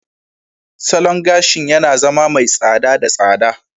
Salon gashi yana zama mai tsada da tsada.